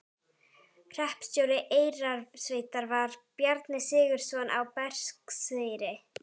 Hreppstjóri Eyrarsveitar var Bjarni Sigurðsson á Berserkseyri.